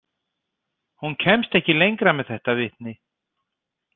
Hún kemst ekki lengra með þetta vitni.